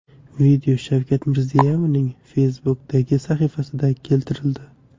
Video Shavkat Mirziyoyevning Facebook’dagi sahifasida keltirildi .